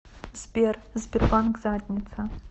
сбер сбербанк задница